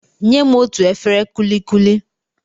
Nyem otú efere kulikuli!